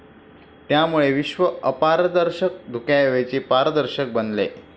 त्यामुळे विश्व अपारदर्शक धुक्याऐवजी पारदर्शक बनले.